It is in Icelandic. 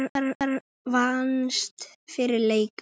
Reyndar vannst fyrsti leikur.